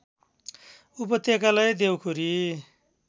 उपत्यकालाई देउखुरी